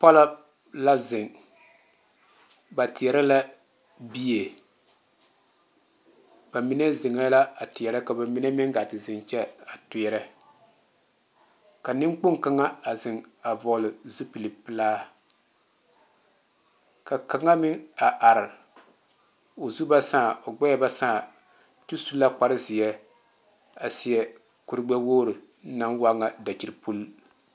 Polɔ la zeŋ, ba tiɛre la bie ba mine zeŋe la a tiɛre ka ba mine meŋ gaa te zeŋ kyɛ a tiɛre ka nenkpoŋ kaŋa a zeŋ a vɔgle zupele pelaa ka kaŋa meŋ a are o zu ba saa o gbeɛ ba saa kyuu su la kpare ziɛ a seɛ kuri gbe wogre naŋ waa nyɛ dakyipul.